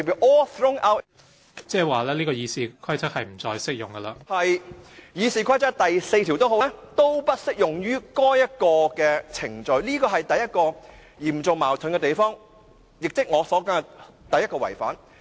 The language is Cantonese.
無論是附表 1， 或是《議事規則》第4條，也不適用於該程序，這是第一個嚴重矛盾的地方，亦即我所說的第一個違反。